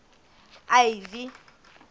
ivy